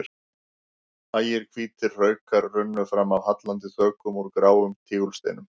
Hægir hvítir hraukar runnu fram af hallandi þökum úr gráum tígulsteinum.